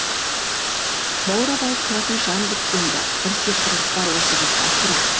баурап алып тұратын жан біткенді бір сиқырлық бар осы қызда сірә